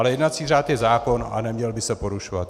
Ale jednací řád je zákon a neměl by se porušovat.